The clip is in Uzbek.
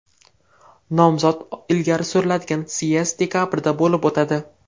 Nomzod ilgari suriladigan syezd dekabrda bo‘lib o‘tadi.